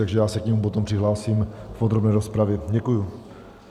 Takže já se k němu potom přihlásím v podrobné rozpravě Děkuji.